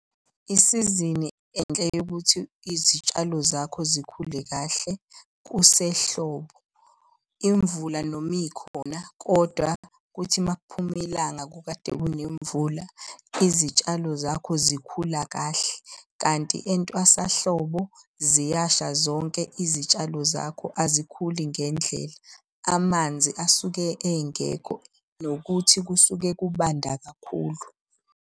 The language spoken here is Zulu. Isizini enhle yokuthi izitshalo zakho zikhule kahle kusehlobo. Imvula noma ikhona, kodwa kuthi makuphume ilanga kukade kunemvula, izitshalo zakho zikhula kahle. Kanti entwasahlobo ziyasha zonke izitshalo zakho azikhuli ngendlela, amanzi asuke engekho nokuthi kusuke kubanda kakhulu.